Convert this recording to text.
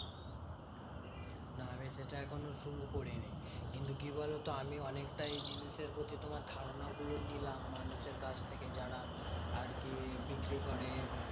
না আমি সেটা এখনো শুরু করিনি। কিন্তু কি বলতো? আমি অনেকটাই এই জিনিসের প্রতি তোমার ধারণা গুলো নিলাম মানুষের কাছ থেকে। যারা আর কি বিক্রি করে।